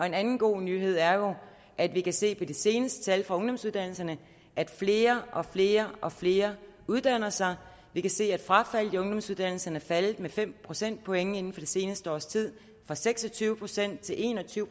en anden god nyhed er jo at vi kan se på de seneste tal fra ungdomsuddannelserne at flere og flere og flere uddanner sig vi kan se at frafaldet i ungdomsuddannelserne er faldet med fem procentpoint inden for det seneste års tid fra seks og tyve procent til en og tyve